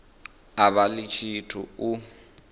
a vha ḽi tshithu u